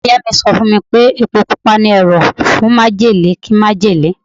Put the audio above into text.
Ìyá Ìyá mi sọ fún mi pé Epo Pupa ni ẹ̀rọ̀ fún májèlé kí májèlé.